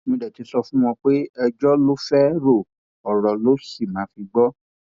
mo dé ti sọ fún wọn pé ẹjọ ló fẹẹ ro ọrọ ló sì máa fi gbọ